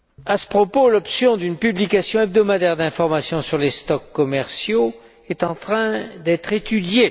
À ce propos, l'option d'une publication hebdomadaire d'information sur les stocks commerciaux est en train d'être étudiée.